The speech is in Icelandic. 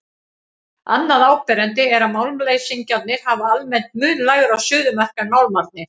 Annað áberandi er að málmleysingjarnir hafa almennt mun lægra suðumark en málmarnir.